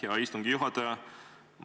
Hea istungi juhataja!